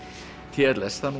t l s það